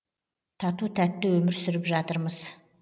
тату тәтті өмір сүріп жатырмыз